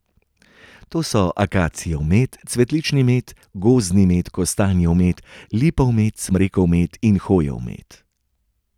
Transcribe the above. Te so akacijev med, cvetlični med, gozdni med, kostanjev med, lipov med, smrekov med in hojev med.